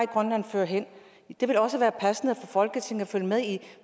grønland fører hen det vil også være passende for folketinget at følge med i